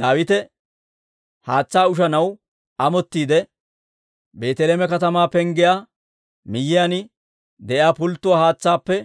Daawite haatsaa ushanaw amottiide, «Beeteleeme katamaa penggiyaa miyiyaan de'iyaa pulttuwaa haatsaappe